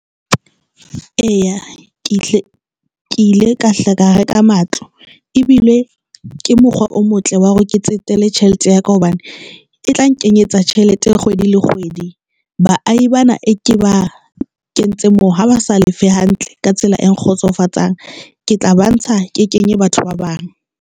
Eya, hle ke ile ka hla ka reka matlo ebile ke mokgwa o motle wa hore ke tsetele tjhelete ya ka hobane e tla nkenyetsa tjhelete kgwedi le kgwedi. Baahi bana e ke ba kentse moo ha ba sa lefe hantle ka tsela e sa kgotsofatseng, ke tla ba ntsha ke kenye batho ba bang.